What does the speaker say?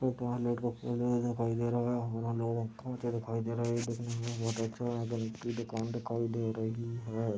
दिखाई दे रहा है। दिखाई दे रहा है। दुकान दिखाई दे रही है।